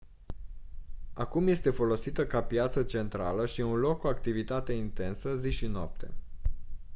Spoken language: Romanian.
acum este folosită ca piață centrală și e un loc cu activitate intensă zi și noapte